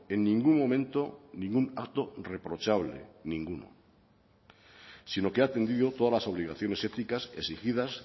en ningún momento ningún acto reprochable ninguno sino que ha atendido todas las obligaciones éticas exigidas